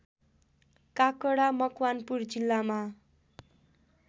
काकडा मकवानपुर जिल्लामा